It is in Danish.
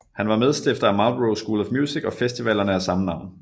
Han var medstifter af Marlboro School of Music og festivalerne af samme navn